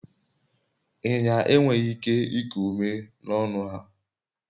inyinya enweghi ike iku ume n'ọnu-ha